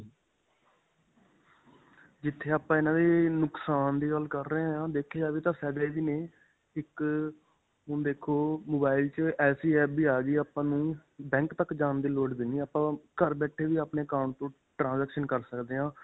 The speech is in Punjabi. ਜਿੱਥੇ ਆਪਾਂ ਇਨ੍ਹਾਂ ਦੇ ਨੁਕਸਾਨ ਦੀ ਗੱਲ ਕਰ ਰਹੇ ਹਾਂ, ਦੇਖਿਆ ਜਾਵੇ ਤਾਂ ਫਾਇਦੇ ਵੀ ਨੇ ਇੱਕ ਹੁਣ ਦੇਖੋ mobile 'ਚ ਐਸੀ apps ਵੀ ਆ ਗਈ ਆਪਾਂ ਨੂੰ ਬੈਂਕ ਤੱਕ ਜਾਣ ਦੀ ਲੋੜ ਵੀ ਨਹੀ ਆਪਾਂ ਘਰ ਬੈਠੇ ਵੀ ਆਪਣੇ account ਤੋ transaction ਕਰ ਸਕਦੇ ਹਾਂ.